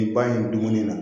in dumuni na